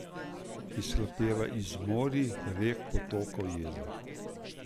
Izhlapeva iz morij, rek, potokov, jezer.